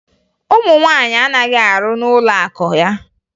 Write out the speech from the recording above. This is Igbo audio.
Ụmụ nwaanyị anaghị arụ n'ụlọakụ ya